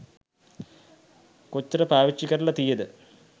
කොච්චර පාවිච්චි කරල තියෙද